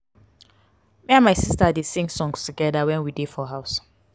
me and my sista dey sing songs togeda wen we dey for house.